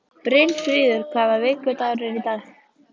Brynfríður, hvaða vikudagur er í dag?